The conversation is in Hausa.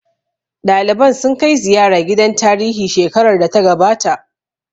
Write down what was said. Ɗaliban sun kai ziyara gidan tarihi shekarar da ta gabata